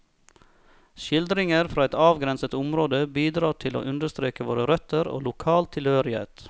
Skildringer fra et avgrenset område bidrar til å understreke våre røtter og lokal tilhørighet.